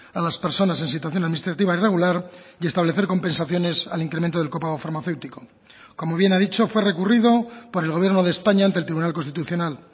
a las personas en situación administrativa irregular y establecer compensaciones al incremento del copago farmacéutico como bien ha dicho fue recurrido por el gobierno de españa ante el tribunal constitucional